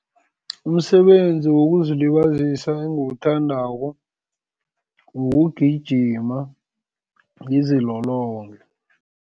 Umsebenzi wokuzilibazisa engiwuthandako kugijima, ngizilolonge.